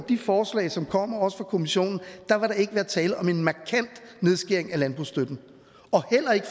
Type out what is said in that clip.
de forslag som kommer også fra kommissionen vil der ikke være tale om en markant nedskæring af landbrugsstøtten